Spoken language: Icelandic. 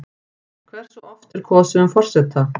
Hversu oft er kosið um forseta?